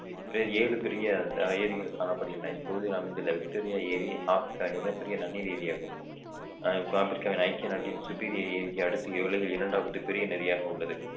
ஏழு பெரிய ஏரிகள் காணப்படுகின்றன இப்பகுதியில் அமைந்துள்ள விக்டோரியா ஏரி ஆப்பிரிக்காவின் மிகப் பெரிய நன்னீர் ஏரியாகும் அஹ் ஆப்பிரிக்காவின் ஐக்கிய நாட்டின் சுப்பீரியர் ஏரிக்கு அடுத்து உலகில் இரண்டாவது பெரிய நதியாக உள்ளது